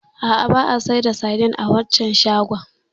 A'a, ba a sayar da saidin a waccan shagon.